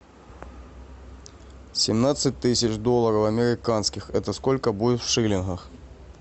семнадцать тысяч долларов американских это сколько будет в шиллингах